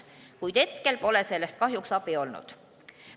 Kuid hetkel pole sellest kahjuks abi olnud.